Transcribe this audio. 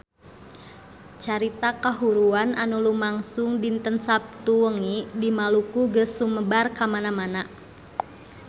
Carita kahuruan anu lumangsung dinten Saptu wengi di Maluku geus sumebar kamana-mana